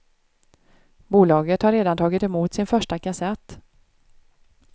Bolaget har redan tagit emot sin första kassett.